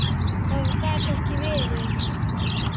Það gat ekki verið.